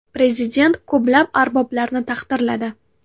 Prezident ko‘plab arboblarni taqdirladi.